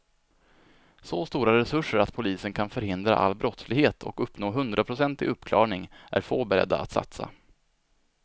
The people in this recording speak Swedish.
Så stora resurser att polisen kan förhindra all brottslighet och uppnå hundraprocentig uppklarning är få beredda att satsa.